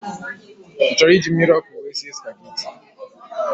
You want to use this hot water to cook Spaghetti?